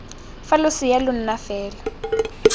fa losea lo na fela